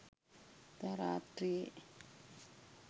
එදා රාත්‍රියේ